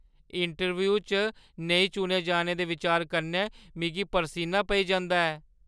Interview च नेईं चुने जाने दे बिचार कन्नै मिगी परसीना पेई जंदा ऐ।